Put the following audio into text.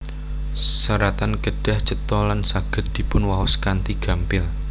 Seratan kedah cetha lan saged dipunwaos kanthi gampil